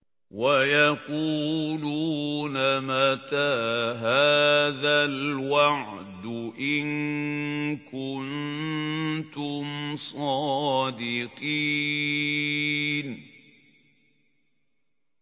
وَيَقُولُونَ مَتَىٰ هَٰذَا الْوَعْدُ إِن كُنتُمْ صَادِقِينَ